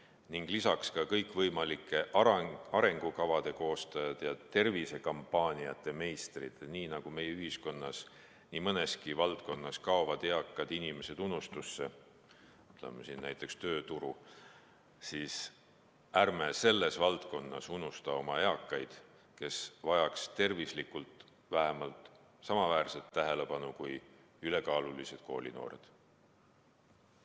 Lisaks ütlen ka kõikvõimalike arengukavade koostajatele ja tervisekampaaniate meistritele, et kui meie ühiskonnas nii mõneski valdkonnas kaovad eakad inimesed unustusse, näiteks tööturul, siis ärme selles valdkonnas unustame oma eakaid, kes vajaks tervise mõttes vähemalt samaväärset tähelepanu kui ülekaalulised koolinoored.